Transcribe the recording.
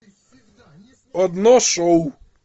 одно шоу